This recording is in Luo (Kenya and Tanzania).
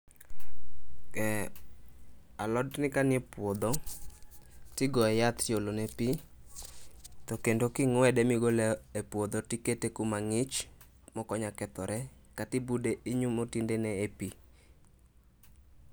Alotni kanie puodho, tigoye yath tiolene pii to kendo king'wede migole e puodho tikete kumang'ich mokonyal kethore katinyumo tiende ne e pii